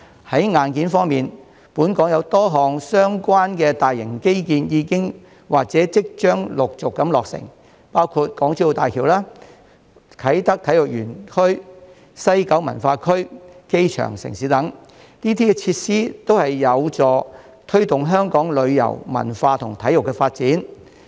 在硬件方面，本港有多項相關大型基建已經或即將陸續落成，包括港珠澳大橋、啟德體育園、西九文化區、機場城市等，這些設施均有助推動香港旅遊、文化及體育的發展。